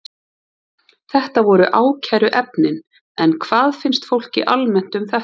Þetta voru ákæruefnin, en hvað finnst fólki almennt um þetta?